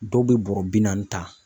Dɔw bɛ bɔɔrɔ bi naani ta.